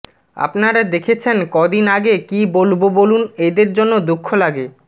আপনারা দেখেছেন কদিন আগে কি বলবো বলুন এদের জন্য দুঃখ লাগে